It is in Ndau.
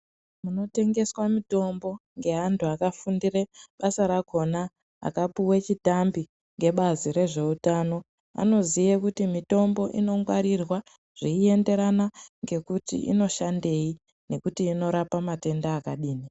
Munotengeswa mitombo ngeavantu vakafundire basa rakona akapuwe chitambi ngebazi rezveutano anoziye kuti mitombo inongwarirwa zveyienderana ngekuti inoshandeyi nokuti inorapa matenda akadini.